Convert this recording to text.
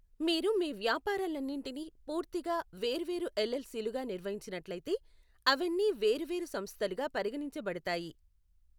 మీరు మీ వ్యాపారాలన్నింటినీ పూర్తిగా వేర్వేరు ఎల్ఎల్సిలుగా నిర్వహించినట్లయితే, అవన్నీవేరు వేరు సంస్థలుగా పరిగణించబడతాయి.